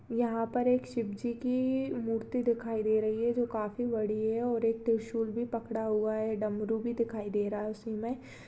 यहाँ पर एक शिव जी की मूर्ति दिखाई दे रही है जो काफी बड़ी है और एक त्रिशूल भी पकड़ा हुआ है डमरू भी दिखाई दे रहा है उसी में।